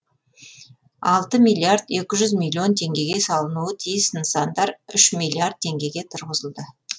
алты миллиард екі жүз миллион теңгеге салынуы тиіс нысандар үш миллиард теңгеге тұрғызылды